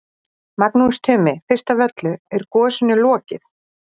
Magnús Tumi, fyrst af öllu, er gosinu lokið?